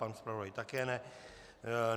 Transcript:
Pan zpravodaj také ne.